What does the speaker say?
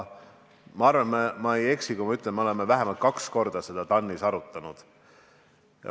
Ma arvan, et ma ei eksi, kui ma ütlen, et me oleme seda vähemalt kaks korda TAN-is arutanud.